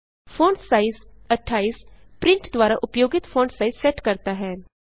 font size 28 print द्वारा उपयोगित font size set करता है